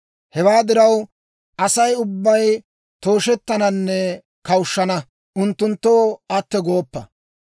Hewaa diraw, Asay ubbay tooshettananne kawushshana. Unttunttoo atto gooppa.